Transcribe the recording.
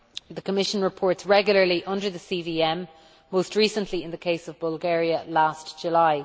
The Commission reports regularly under the CVM, most recently in the case of Bulgaria last July.